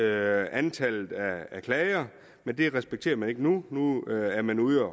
antallet af klager men det respekterer man ikke nu nu er man ude